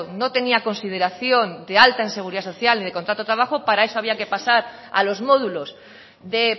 no tenía consideración de alta en seguridad social ni de contrato de trabajo para eso había que pasar a los módulos de